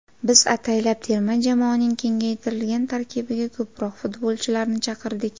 Biz ataylab terma jamoaning kengaytirilgan tarkibiga ko‘proq futbolchilarni chaqirdik.